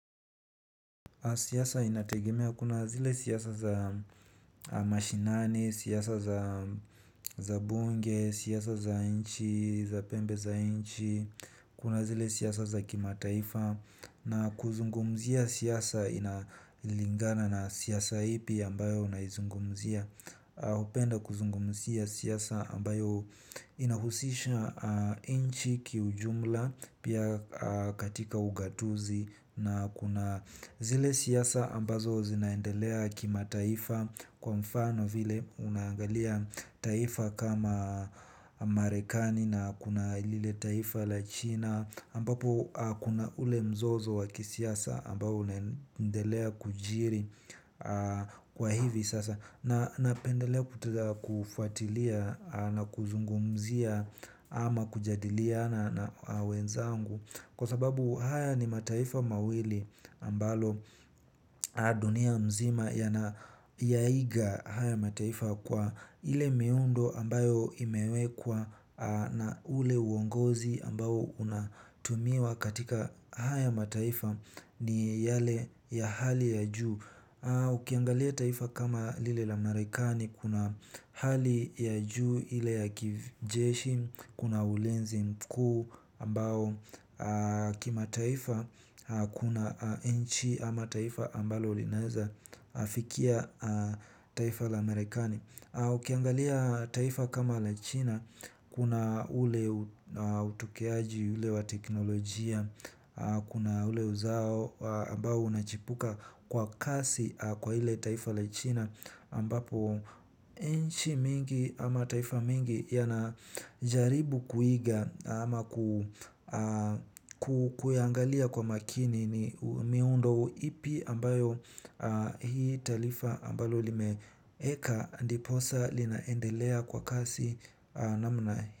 Siyasa inategemea kuna zile siyasa za mashinani, siyasa za bunge, siyasa za inchi, za pembe za inchi, kuna zile siyasa za kimataifa. Na kuzungumzia siyasa inalingana na siyasa ipi ambayo unaizungumzia. Upenda kuzungumzia siyasa ambayo inahusisha inchi kiujumla pia katika ugatuzi na kuna zile siyasa ambazo zinaendelea kima taifa kwa mfano vile unangalia taifa kama amarekani na kuna ilile taifa la china ambapo kuna ule mzozo waki siyasa ambapo unendelea kujiri kwa hivi sasa na pendelea kutada kufuatilia na kuzungumzia ama kujadilia na wenzangu. Kwa sababu haya ni mataifa mawili ambalo dunia mzima ya na yaiga haya mataifa kwa ile miundo ambayo imewekwa na ule uongozi ambayo unatumiwa katika haya mataifa ni yale ya hali ya juu. Ukiangalia taifa kama lile la Amerikani kuna hali ya juu ile ya kijeshi kuna ulinzi mkuu ambao kima taifa kuna nchi ama taifa ambalo linaeza fikia taifa la Amerikani. Ukiangalia taifa kama la china kuna ule utukeaji ule wa teknolojia kuna ule uzao ambao unachipuka kwa kasi kwa ile taifa la china ambapo inchi mingi ama taifa mingi ya na jaribu kuiga ama kuyangalia kwa makini ni miundo ipi ambayo hii taifa ambayo limeeka eka ndiposa linaendelea kwa kasi na mnae.